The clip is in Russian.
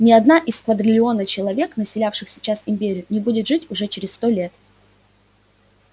ни одна из квадрильона человек населяющих сейчас империю не будет жить уже через сто лет